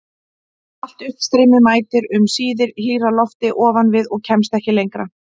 Allt uppstreymi mætir um síðir hlýrra lofti ofan við og kemst ekki lengra.